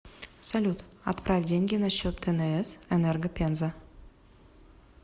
салют отправь деньги на счет тнс энерго пенза